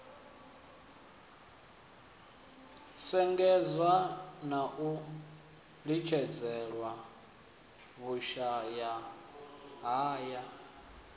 shengedzwa na u litshedzelwa vhushayahaya